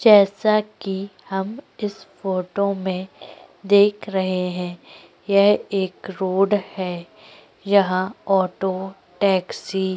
जैसा की हम इस फोटो में देख रहै हैं यह एक रोड है यहाँ ऑटो टैक्सी --